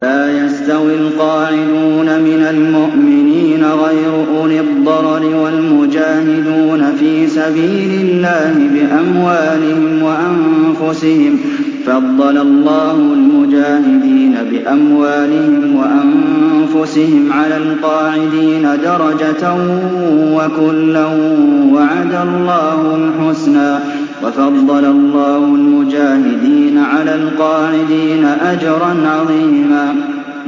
لَّا يَسْتَوِي الْقَاعِدُونَ مِنَ الْمُؤْمِنِينَ غَيْرُ أُولِي الضَّرَرِ وَالْمُجَاهِدُونَ فِي سَبِيلِ اللَّهِ بِأَمْوَالِهِمْ وَأَنفُسِهِمْ ۚ فَضَّلَ اللَّهُ الْمُجَاهِدِينَ بِأَمْوَالِهِمْ وَأَنفُسِهِمْ عَلَى الْقَاعِدِينَ دَرَجَةً ۚ وَكُلًّا وَعَدَ اللَّهُ الْحُسْنَىٰ ۚ وَفَضَّلَ اللَّهُ الْمُجَاهِدِينَ عَلَى الْقَاعِدِينَ أَجْرًا عَظِيمًا